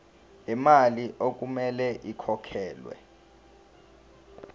lemali okumele ikhokhelwe